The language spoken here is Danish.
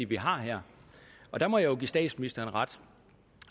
vi har her og der må jeg give statsministeren ret